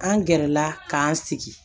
An gɛrɛla k'an sigi